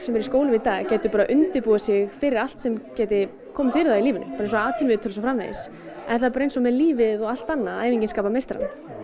eru í skólum í dag gætu undirbúið sig fyrir allt sem gæti komið fyrir það í lífinu bara eins og atvinnuviðtöl og svo framvegis það er bara eins með lífið og allt annað að æfingin skapar meistarann